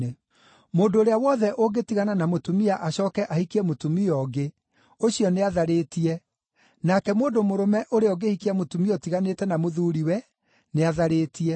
“Mũndũ ũrĩa wothe ũngĩtigana na mũtumia acooke ahikie mũtumia ũngĩ, ũcio nĩatharĩtie, nake mũndũ mũrũme ũrĩa ũngĩhikia mũtumia ũtiganĩte na mũthuuri-we, nĩatharĩtie.”